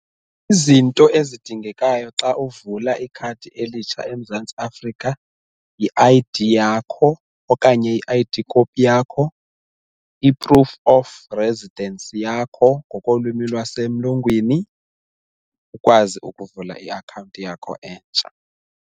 Izinto ezidingekayo xa uvula ikhadi elitsha eMzantsi Afrika yi-I_D yakho okanye i-I_D kopi yakho, i-proof of residence yakho ngokolwimi lwasemlungwini ukwazi ukuvula i-akhawunti yakho entsha.